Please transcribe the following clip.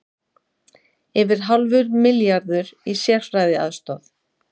Yfir hálfur milljarður í sérfræðiaðstoð